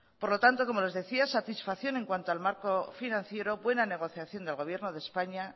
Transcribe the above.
por lo tanto como les decía satisfacción en cuanto al marco financiero buena negociación del gobierno de españa